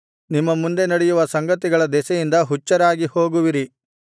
ನಿಮ್ಮ ಮುಂದೆ ನಡೆಯುವ ಸಂಗತಿಗಳ ದೆಸೆಯಿಂದ ಹುಚ್ಚರಾಗಿ ಹೋಗುವಿರಿ